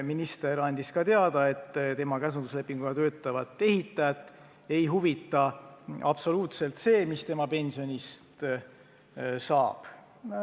Minister andis ka teada, et tema käsunduslepinguga töötavat ehitajat ei huvita absoluutselt, mis tema pensionist saab.